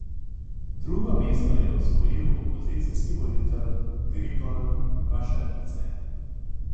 Drugo mesto je osvojil opozicijski voditelj Grigol Vašadze.